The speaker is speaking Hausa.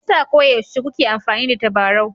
Me yasa koyaushe kuke amfani da tabarau?